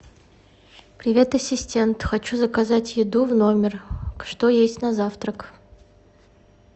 привет ассистент хочу заказать еду в номер что есть на завтрак